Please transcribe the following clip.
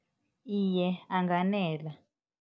Iye, anganela.